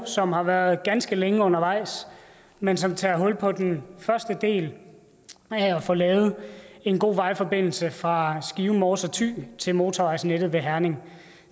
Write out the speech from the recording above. som har været ganske længe undervejs men som tager hul på den første del af at få lavet en god vejforbindelse fra skive mors og thy til motorvejsnettet ved herning